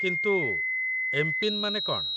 କିନ୍ତୁ ଏମ୍.ପିନ୍. ମାନେ କ'ଣ ?